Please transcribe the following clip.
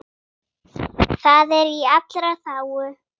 Það er í allra þágu.